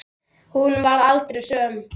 Hún varð aldrei söm.